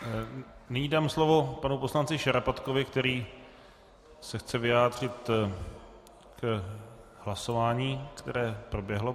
Nyní dám slovo panu poslanci Šarapatkovi, který se chce vyjádřit k hlasování, které proběhlo.